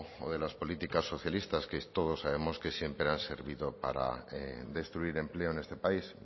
o de las políticas socialistas que todos sabemos que siempre han servido para destruir empleo en este país